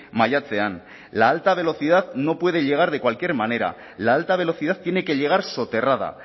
maiatzean la alta velocidad no puede llegar de cualquier manera la alta velocidad tiene que llegar soterrada